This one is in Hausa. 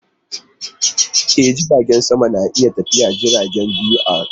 E, jiragen sama na iya tafiyar jirage biyu a rana.